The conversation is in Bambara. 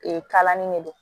Ee kalanni de don